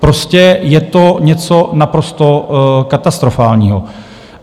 Prostě je to něco naprosto katastrofálního.